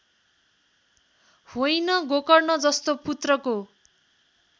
होइन गोकर्णजस्तो पुत्रको